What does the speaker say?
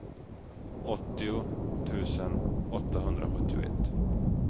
åttio tusen åttahundrasjuttioett